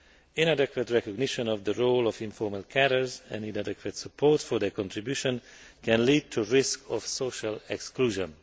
Inadequate recognition of the role of informal carers and inadequate support for their contribution can lead to risks of social exclusion.